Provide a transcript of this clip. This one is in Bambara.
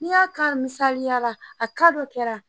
N'i y'a ta misaliya la a ka dɔ kɛra